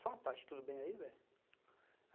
Só uma parte, tudo bem aí, velho?